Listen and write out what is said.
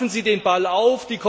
Greifen Sie den Ball auf!